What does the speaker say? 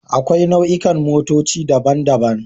Akwai nau'ikan motoci daban-daban